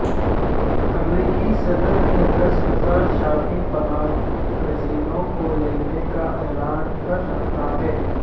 امریکی صدر نے دس ہزار شامی پناہ گزینوں کو لینے کا اعلان کر رکھا ہے